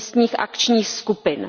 místních akčních skupin.